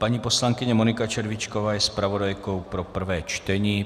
Paní poslankyně Monika Červíčková je zpravodajkou pro prvé čtení.